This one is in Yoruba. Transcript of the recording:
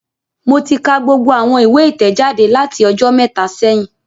Mo ti ka gbogbo awọn iwe itẹjade lati ọjọ mẹta sẹhin